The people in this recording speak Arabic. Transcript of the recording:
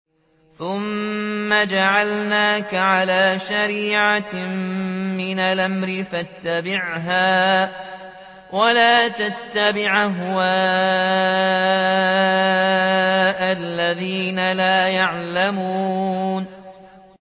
ثُمَّ جَعَلْنَاكَ عَلَىٰ شَرِيعَةٍ مِّنَ الْأَمْرِ فَاتَّبِعْهَا وَلَا تَتَّبِعْ أَهْوَاءَ الَّذِينَ لَا يَعْلَمُونَ